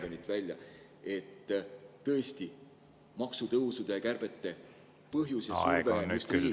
… 150 miljonit välja –, et maksutõusude ja kärbete põhjus ja surve on tõesti just riigikaitse?